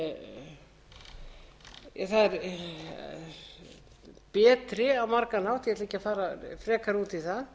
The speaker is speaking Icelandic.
á margan hátt ég ætla ekki að fara frekar út í það